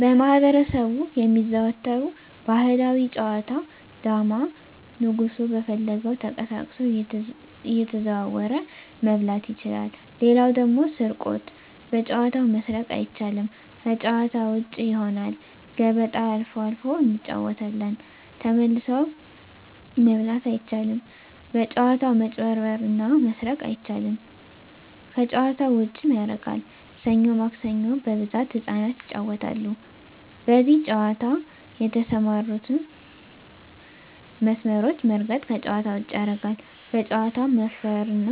በማህበረሰቡ የሚዘወተሩ ባህላዊ ጨዋታ ዳማ ንጉሡ በፈለገው ተቀሳቅሶ እየተዘዋወረ መብላት ይችላል ሌላው ደግሞ ስርቆት በጨዋታው መስረቅ አይቻልም ከጭዋታ ውጭ ይሆናል ገበጣ አልፎ አልፎ እንጫወታለን ተመልሶ መብላት አይቻልም በጭዋታው መጭበርበር እና መስረቅ አይቻልም ከጨዋታው ዉጭም ያረጋል ሠኞ ማክሰኞ በብዛት ህጻናት ይጫወታሉ በዚህ ጨዋታ የተሠማሩትን መስመሮች መርገጥ ከጨዋታ ውጭ ያረጋል በጨዋታው መፈረ እና